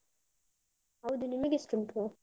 ಹೌದು, ನಿಮಗೆ ಎಷ್ಟುಂಟು?